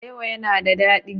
Alewa yana da dadi.